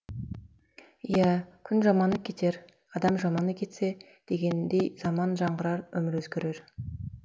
иә күн жаманы кетер адам жаманы кетсе дегендей заман жаңғырар өмір өзгерер